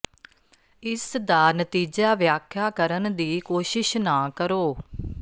ਇਸ ਦਾ ਨਤੀਜਾ ਵਿਆਖਿਆ ਕਰਨ ਦੀ ਕੋਸ਼ਿਸ਼ ਨਾ ਕਰੋ